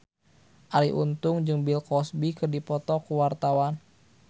Arie Untung jeung Bill Cosby keur dipoto ku wartawan